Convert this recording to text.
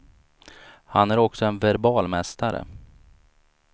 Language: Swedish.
Han är också en verbal mästare.